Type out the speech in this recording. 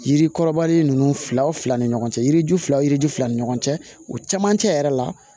Yirikɔrɔbari ninnu fila ni ɲɔgɔn cɛ yiri ju fila yiri ju fila ni ɲɔgɔn cɛ o camancɛ yɛrɛ la